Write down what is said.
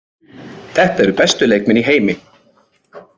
Þetta eru bestu leikmenn í heimi.